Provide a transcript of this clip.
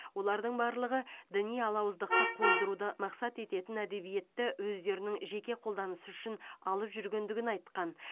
олардың барлығы діни алауыздықты қоздыруды мақсат ететін әдебиетті өздерінің жеке қолданысы үшін алып жүргендігін айтқан